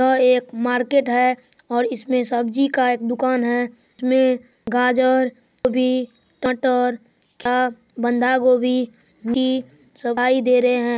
यह एक मार्केट है और इसमें सब्जी का एक दुकान है इसमें गाजर गोभी कटहल आ बंधा गोभी पी सभाई दे रहे हैं ।